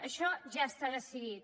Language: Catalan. això ja s’ha decidit